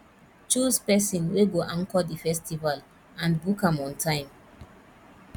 choose persin wey go anchor di festival and book am on time